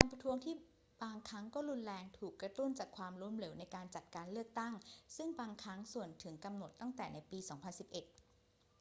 การประท้วงที่บางครั้งก็รุนแรงถูกกระตุ้นจากความล้มเหลวในการจัดการเลือกตั้ง ซึ่งบางครั้งส่วนถึงกำหนดตั้งแต่ในปี 2011